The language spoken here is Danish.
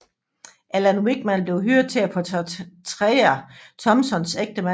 Alan Rickman blev hyret til at portrættere Thompsons ægtemand